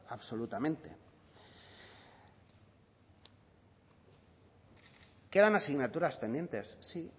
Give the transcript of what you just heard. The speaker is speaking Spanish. absolutamente quedan asignaturas pendientes sí